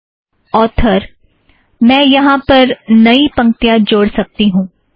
author - मैं यहाँ पर नई पंक्तियाँ जोड़ सकती हूँ